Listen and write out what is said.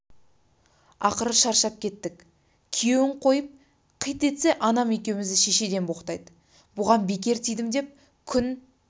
ақыры шаршап кеттік күйеуін қойып қит етсе анам екеумізді шешеден боқтайды бұған бекер тидім деп күн